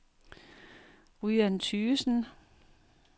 Ryan Tygesen